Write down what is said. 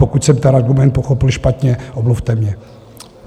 Pokud jsem ten argument pochopil špatně, omluvte mě.